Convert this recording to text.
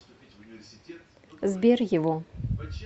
сбер его